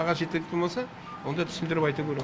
қағаз жеткілікті болмаса онда түсіндіріп айту керек